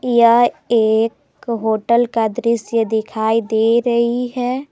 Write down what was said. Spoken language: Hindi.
यह एक होटल का दृश्य दिखाई दे रही है।